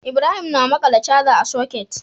Ibrahim na maƙala charger a socket